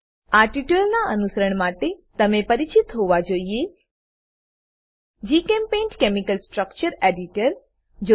આ ટ્યુટોરીયલનાં અનુસરણ માટે તમે પરિચિત હોવા જોઈએ જીચેમ્પેઇન્ટ કેમિકલ સ્ટ્રક્ચર એડિટર